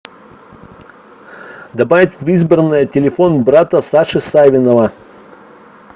добавить в избранное телефон брата саши савинова